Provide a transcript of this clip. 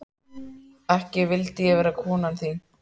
Ekki vildi ég vera konan þín.